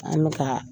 An bɛ ka